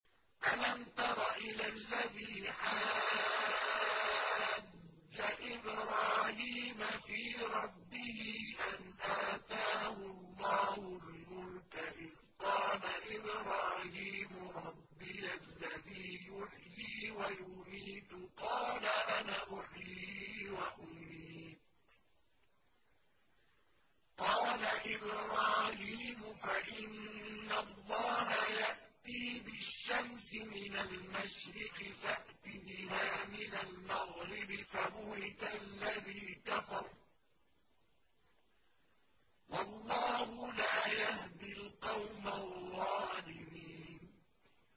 أَلَمْ تَرَ إِلَى الَّذِي حَاجَّ إِبْرَاهِيمَ فِي رَبِّهِ أَنْ آتَاهُ اللَّهُ الْمُلْكَ إِذْ قَالَ إِبْرَاهِيمُ رَبِّيَ الَّذِي يُحْيِي وَيُمِيتُ قَالَ أَنَا أُحْيِي وَأُمِيتُ ۖ قَالَ إِبْرَاهِيمُ فَإِنَّ اللَّهَ يَأْتِي بِالشَّمْسِ مِنَ الْمَشْرِقِ فَأْتِ بِهَا مِنَ الْمَغْرِبِ فَبُهِتَ الَّذِي كَفَرَ ۗ وَاللَّهُ لَا يَهْدِي الْقَوْمَ الظَّالِمِينَ